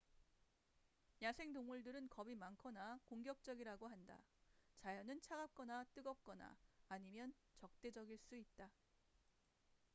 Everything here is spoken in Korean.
야생동물들은 겁이 많거나 공격적이라고 한다 자연은 차갑거나 뜨겁거나 아니면 적대적일 수 있다